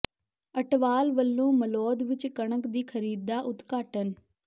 ਅਟਵਾਲ ਵੱਲੋਂ ਮਲੌਦ ਵਿੱਚ ਕਣਕ ਦੀ ਖਰੀਦ ਦਾ ਉਦਘਾਟਨ